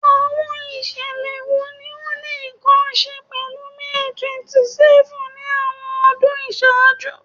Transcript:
Awọn iṣẹlẹ wo ni o ni nkan ṣe pẹlu May 27th ni awọn ọdun iṣaaju?